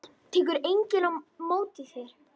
Tekur enginn á móti þér?